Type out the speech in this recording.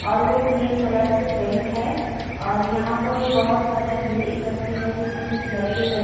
और वो cream colour से पेंट है और यहाँ पर बहोत सारी भीड़ इकट्ठे है जिसमे कुछ लड़के-लड़ --